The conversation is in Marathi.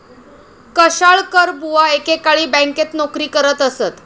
कशाळकरबुवा एकेकाळी बँकेत नोकरी करत असत.